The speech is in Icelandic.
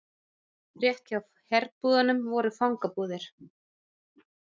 Rétt hjá herbúðunum voru fangabúðir.